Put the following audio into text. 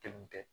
Kelen tɛ